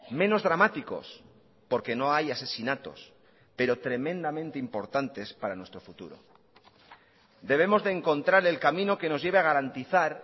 menos dramáticos porque no hay asesinatos pero tremendamente importantes para nuestro futuro debemos de encontrar el camino que nos lleve a garantizar